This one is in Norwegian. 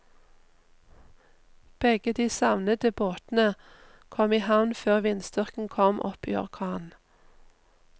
Begge de savnede båtene kom i havn før vindstyrken kom opp i orkan.